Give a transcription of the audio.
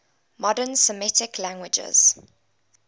modern semitic languages